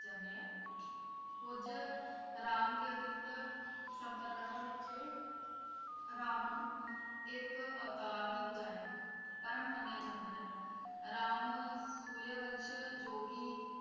ਕੁਝ ਰਾਮ ਕੇਂਦਰਿਤ ਸੰਪਰਦਾਵਾਂ ਵਿਚ ਰਾਮ ਨੂੰ ਇੱਕ ਅਵਤਾਰ ਦੀ ਬਜਾਏ ਪਰਮ ਮਨੀਆ ਜਾਂਦਾ ਹੈ ਰਾਮ ਸੂਰਯ ਵੰਸ਼ ਜੋ ਕਿ